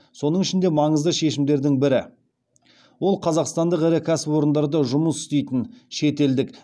соның ішінде маңызды шешімдердің бірі ол қазақстандық ірі кәсіпорындарда жұмыс істейтін шетелдік